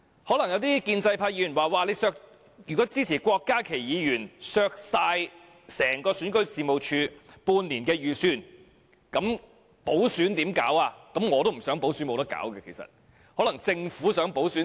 可能有些建制派議員會說，如果支持郭家麒議員削減整個選舉事務處半年預算，那麼如何舉行補選？